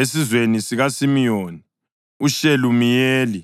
esizweni sikaSimiyoni, uShelumiyeli